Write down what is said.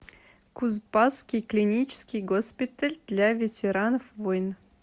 кузбасский клинический госпиталь для ветеранов войн